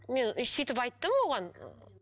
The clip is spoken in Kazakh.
мен ы сөйтіп айттым оған